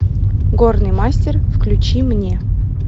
горный мастер включи мне